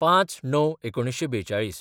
०५/०९/४२